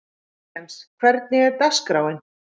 Kristens, hvernig er dagskráin?